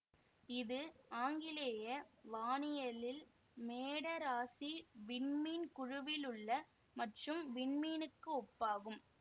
இது ஆங்கிலேய வானியலில் மேட இராசி விண்மீன் குழுவில் உள்ள மற்றும் விண்மீனுக்கு ஒப்பாகும்